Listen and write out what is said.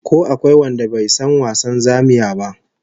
Ko akwai wanda bai san wasan zamiya ba?